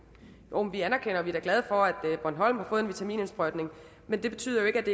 jo vi anerkender og er da glade for at bornholm har fået en vitaminindsprøjtning men det betyder jo ikke at